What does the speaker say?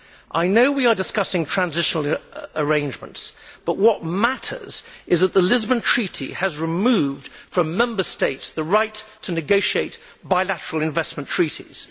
I know we are discussing transitional arrangements but what matters is that the Lisbon Treaty has removed from Member States the right to negotiate bilateral investment treaties.